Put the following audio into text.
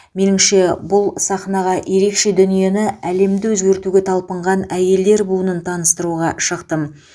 меніңше бұл сахнаға ерекше дүниені әлемді өзгертуге талпынған әйелдер буынын таныстыруға шықтым